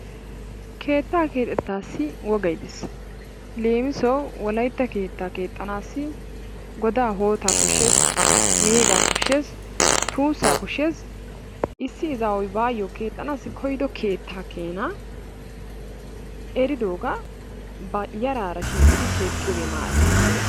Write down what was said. Keettaa keexettaassi wogay dees. Leemisuwawu wolaytta keettaa keexxanaassi godaa, hootaa koshshees, meegaa koshshees, tuussaa koshshees. Issi izaawu baassi keexxanawu koyido keettaa keenaa eridiigaa ba yaraara shiiqidi keexxiyogee maara.